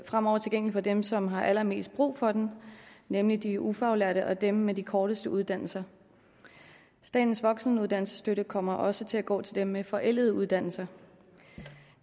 fremover tilgængelig for dem som har allermest brug for den nemlig de ufaglærte og dem med de korteste uddannelser statens voksenuddannelsesstøtte kommer også til at gå til dem med forældede uddannelser